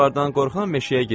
Canavardan qorxan meşəyə girməz.